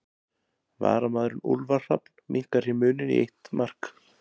Varamaðurinn Úlfar Hrafn minnkar hér muninn í eitt mark.